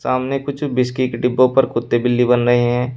सामने कुछ व्हिस्की के डिब्बों पर कुत्ते बिल्ली बन रहें हैं।